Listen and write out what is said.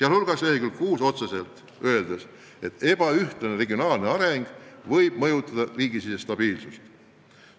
Dokumendi leheküljel 6 on otseselt öeldud, et ebaühtlane regionaalne areng võib mõjutada riigisisest stabiilsust.